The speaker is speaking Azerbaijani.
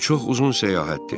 Bu çox uzun səyahətdir.